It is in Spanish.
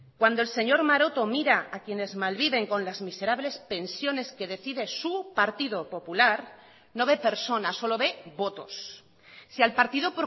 cuando el señor maroto mira a quienes malviven con las miserables pensiones que decide su partido popular no ve personas solo ve votos si al partido